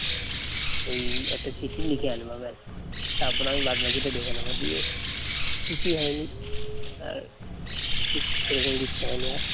ওই একটা চিঠি লিখে আনবা ব্যাস তারপর আমি বাদ বাকিটা দেখে নেব। দিয়ে কিছুই হয়নি আহ সেরকম কিছু হয়নি আর